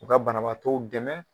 U ka banabaatɔw dɛmɛ